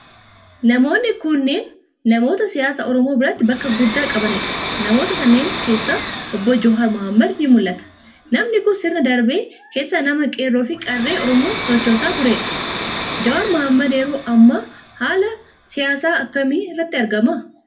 Namoonni kunneen, namoota siyaasa Oromoo biratti bakka guddaa qabanii dha. Namoota a kanneen keessaa ,Obbo Jawaar Mohaammad ni mul'ata. Namni kun, sirna darbe keessa nama qeerroo fi qarree Oromoo sochoosaa tureedha? Jawaar Mohaammad yeroo ammaa kana haala siyaasaa akkamii irratti argama?